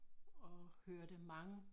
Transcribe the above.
Og hørte mange